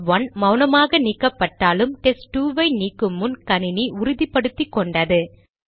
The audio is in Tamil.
டெஸ்ட்1 மௌனமாக நீக்கப்பட்டாலும் டெஸ்ட்2 ஐ நீக்குமுன் கணினி உறுதிபடுத்திக்கொண்டது